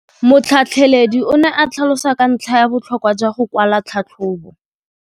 Motlhatlheledi o ne a tlhalosa ka ntlha ya botlhokwa jwa go kwala tlhatlhôbô.